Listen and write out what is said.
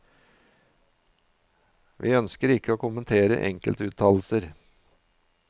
Vi ønsker ikke å kommentere enkeltuttalelser.